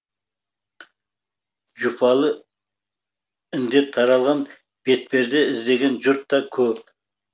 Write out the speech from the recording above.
жұпалы індет таралған бетперде іздеген жұрт та көп